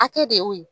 Hakɛ de y'o ye